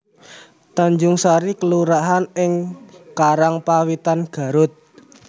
Tanjungsari kelurahan ing Karangpawitan Garut